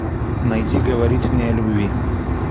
найди говорить мне о любви